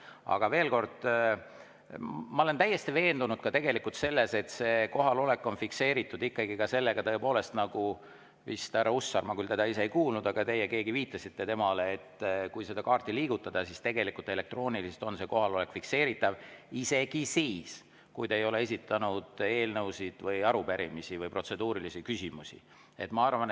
Aga veel kord, ma olen täiesti veendunud, et kohalolek on ikkagi fikseeritud ka sellega, nagu härra Hussar vist ütles – ma teda küll ise ei kuulnud, aga keegi teist viitas temale –, et kui seda kaarti liigutada, siis tegelikult on elektrooniliselt see kohalolek fikseeritav isegi siis, kui te ei ole eelnõusid ja arupärimisi või protseduurilisi küsimusi esitanud.